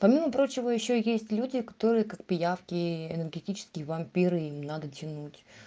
помимо прочего ещё есть люди которые как пиявки энергетические вампиры им надо тянуть